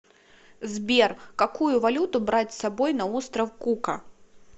сбер какую валюту брать с собой на остров кука